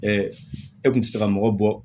e kun tɛ se ka mɔgɔ bɔ